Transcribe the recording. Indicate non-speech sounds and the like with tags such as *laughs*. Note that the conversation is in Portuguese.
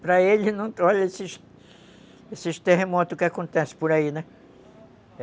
Para *laughs* ele não... Olha esses terremotos que acontecem por aí, né?